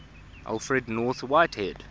alfred north whitehead